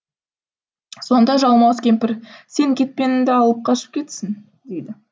сонда жалмауыз кемпір сен кетпенімді алып қашып кетсің дейді